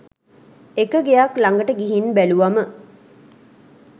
එක ගෙයක් ලඟට ගිහින් බැලුවම